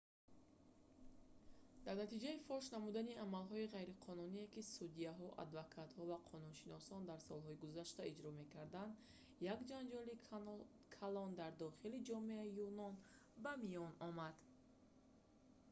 дар натиҷаи фош намудани амалҳои ғайриқонуние ки судяҳо адвокатҳо ва қонуншиносон дар солҳои гузашта иҷро мекарданд як ҷанҷоли калон дар дохили ҷомеаи юнон ба миён омад